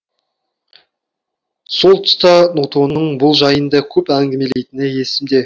сол тұста нутоның бұл жайында көп әңгімелейтіні есімде